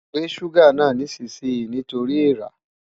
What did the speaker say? Gbé ṣúgà náà nísinsìnyí nítorí èèra!